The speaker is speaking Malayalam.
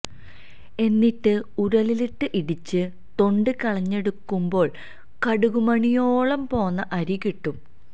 എന്നിട്ട് ഉരലിലിട്ട് ഇടിച്ച് തൊണ്ട് കളഞ്ഞെടുക്കുമ്പോള് കടുകുമണിയോളം പോന്ന അരി കിട്ടും